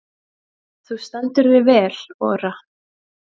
Þú stendur þig vel, Ora!